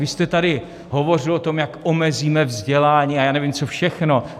Vy jste tady hovořil o tom, jak omezíme vzdělání a já nevím, co všechno.